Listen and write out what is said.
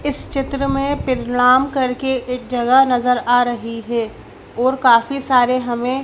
इस चित्र में पिलराम करके एक जगह नज़र आ रही हे और काफी सारे हमें--